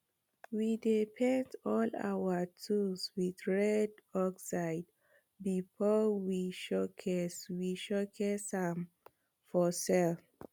we dey paint all our tools wit red oxide before we showcase we showcase am for sell